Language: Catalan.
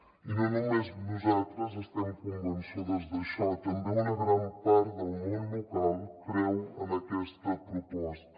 i no només nosaltres estem convençudes d’això també una gran part del món local creu en aquesta proposta